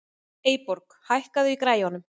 Eyborg, hækkaðu í græjunum.